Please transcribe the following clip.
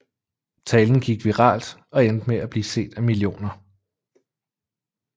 Talen gik viralt og endte med at blive set af millioner